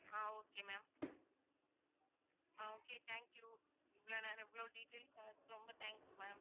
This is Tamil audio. ah okay ma'am ah okay thank you இவ்வளவு நேரம் இவ்வளவு details சொன்னதுக்கு ரொம்ப thanks ma'am